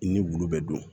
I ni wulu bɛ don